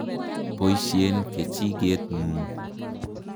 Poisyen kechiket ng'ung'.